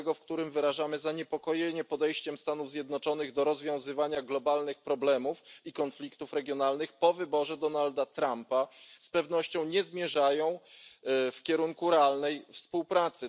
5, w którym wyrażamy zaniepokojenie podejściem Stanów Zjednoczonych do rozwiązywania globalnych problemów i konfliktów regionalnych po wyborze Donalda Trumpa, z pewnością nie zmierzają w kierunku realnej współpracy.